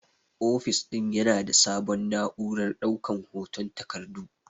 Ofis din Yana da sabon na'urar daukan hoton takardu.